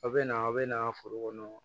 A bɛ na a bɛ na foro kɔnɔ